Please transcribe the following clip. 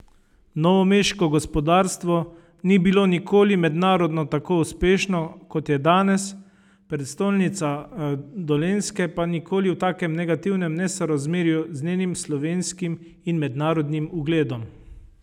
Novomeško gospodarstvo ni bilo nikoli mednarodno tako uspešno, kot je danes, prestolnica Dolenjske pa nikoli v takem negativnem nesorazmerju z njenim slovenskim in mednarodnim ugledom.